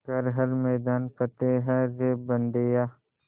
कर हर मैदान फ़तेह रे बंदेया